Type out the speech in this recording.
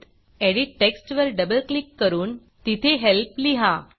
edit टेक्स्टवर double click करून तिथे Helpहेल्प लिहा